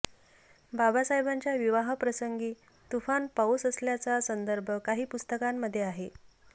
बाबासाहेबांच्या विवाहाप्रसंगी तुफान पाऊस असल्याचा संदर्भ काही पुस्तकांमध्ये आहे